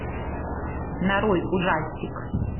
нарой ужастик